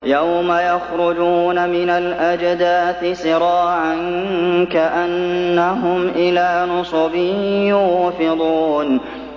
يَوْمَ يَخْرُجُونَ مِنَ الْأَجْدَاثِ سِرَاعًا كَأَنَّهُمْ إِلَىٰ نُصُبٍ يُوفِضُونَ